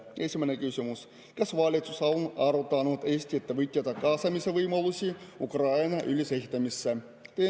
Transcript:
Esimene küsimus: kas valitsus on arutanud Eesti ettevõtjate kaasamise võimalusi Ukraina ülesehitamisse?